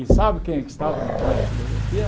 E sabe quem é que estava no pré de filosofia?